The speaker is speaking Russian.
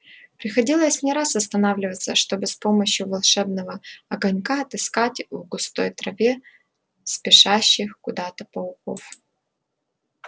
приходилось не раз останавливаться чтобы с помощью волшебного огонька отыскать в густой траве спешащих куда-то пауков